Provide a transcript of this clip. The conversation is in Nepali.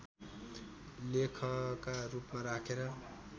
लेखका रूपमा राखेर